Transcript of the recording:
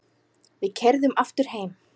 Við keyrðum aftur heim.